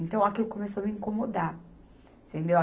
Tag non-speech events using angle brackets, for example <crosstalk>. Então, aquilo começou a me incomodar. <unintelligible>